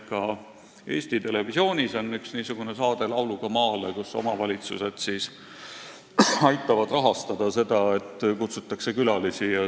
Ka Eesti Televisioonis on üks niisugune saade "Lauluga maale", kus omavalitsused aitavad rahastada seda, et kutsutakse külalisi.